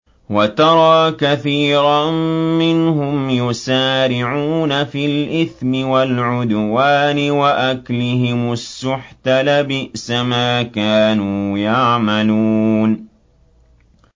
وَتَرَىٰ كَثِيرًا مِّنْهُمْ يُسَارِعُونَ فِي الْإِثْمِ وَالْعُدْوَانِ وَأَكْلِهِمُ السُّحْتَ ۚ لَبِئْسَ مَا كَانُوا يَعْمَلُونَ